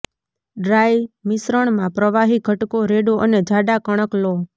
dry મિશ્રણમાં પ્રવાહી ઘટકો રેડો અને જાડા કણક લો